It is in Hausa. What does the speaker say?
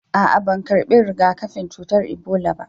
A'a ban karɓi riga-kafin cutar Ibola.